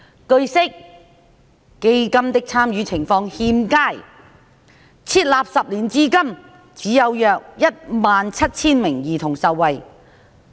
據悉，基金的參與情況欠佳，設立10年至今只有約17000名兒童受惠。